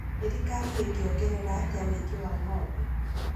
Thirikari ĩngĩongerera atĩa ũingĩ wa ng'ombe